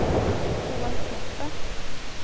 Roald Kleppe